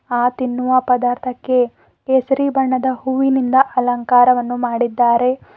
ಆ ತಿನ್ನುವ ಪದಾರ್ಥಕ್ಕೆ ಕೇಸರಿ ಬಣ್ಣದ ಹೂವಿನಿಂದ ಅಲಂಕಾರವನ್ನು ಮಾಡಿದ್ದಾರೆ.